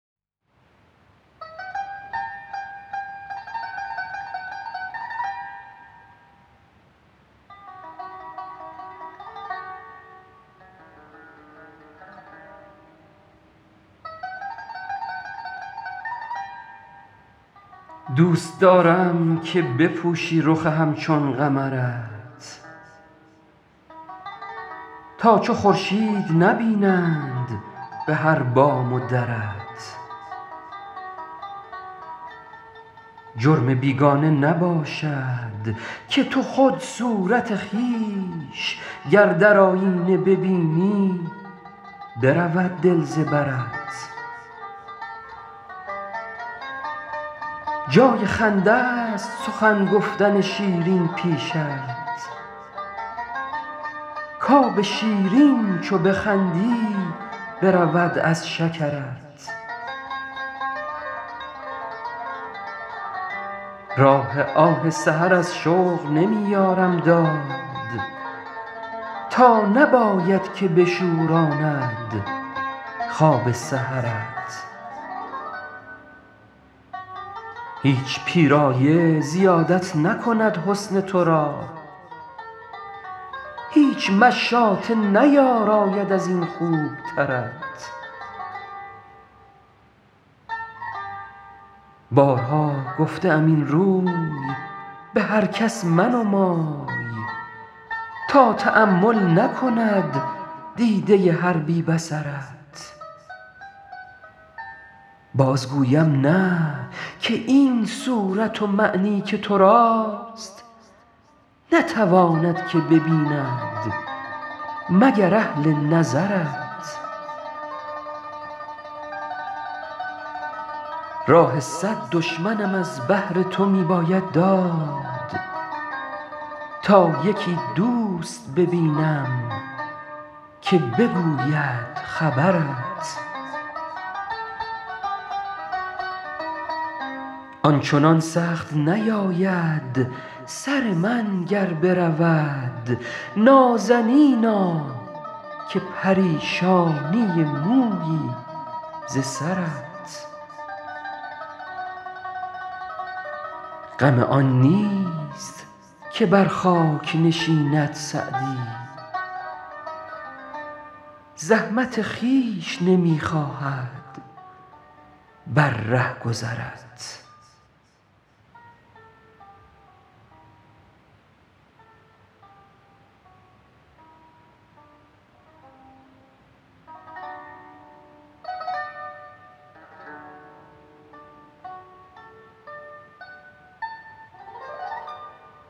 دوست دارم که بپوشی رخ همچون قمرت تا چو خورشید نبینند به هر بام و درت جرم بیگانه نباشد که تو خود صورت خویش گر در آیینه ببینی برود دل ز برت جای خنده ست سخن گفتن شیرین پیشت کآب شیرین چو بخندی برود از شکرت راه آه سحر از شوق نمی یارم داد تا نباید که بشوراند خواب سحرت هیچ پیرایه زیادت نکند حسن تو را هیچ مشاطه نیاراید از این خوبترت بارها گفته ام این روی به هر کس منمای تا تأمل نکند دیده هر بی بصرت باز گویم نه که این صورت و معنی که تو راست نتواند که ببیند مگر اهل نظرت راه صد دشمنم از بهر تو می باید داد تا یکی دوست ببینم که بگوید خبرت آن چنان سخت نیاید سر من گر برود نازنینا که پریشانی مویی ز سرت غم آن نیست که بر خاک نشیند سعدی زحمت خویش نمی خواهد بر رهگذرت